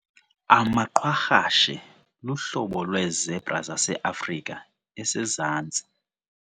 Amaqwarhashe luhlobo lweezebra zaseAfrika esezantsi.